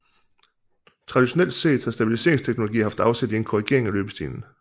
Traditionelt set har stabiliseringsteknologier haft afsæt i en korrigering af løbestilen